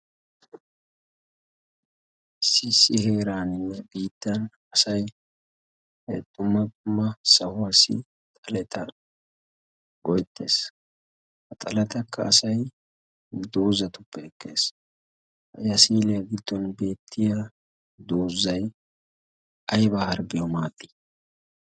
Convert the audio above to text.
Iissi heeraaninne biittan asai dumma dumma sahuwaa so xaleta go'ettees. ha xalatakka asai doozatuppe ekkees hayasiiliyaa giddon beettiya doozzay ayba hargiyawu maadii?